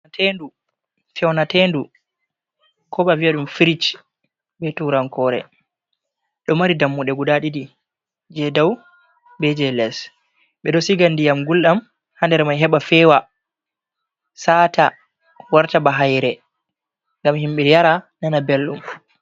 Fewnatenɗu kobo aviyam firig be turankore. Ɗo mari ɗammuɗe guɗa Ɗiɗi. Je ɗau beje les. Be ɗo siga nɗiyam gulɗam ha nɗer mai heba fewa sata warta ba haire ngam himbe yara nana belɗum.